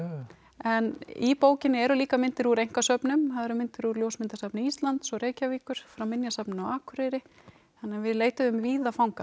en í bókinni eru líka myndir úr einkasöfnum það eru myndir úr ljósmyndasafni Íslands og Reykjavíkur frá Minjasafninu á Akureyri þannig að við leituðum víða fanga